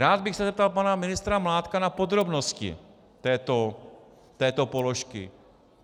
Rád bych se zeptal pana ministra Mládka na podrobnosti této položky.